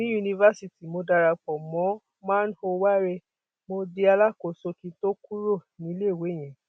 ní yunifásitì mo darapọ mọ man ò wárẹ mo di alákòóso kí n tóó kúrò níléèwé yẹn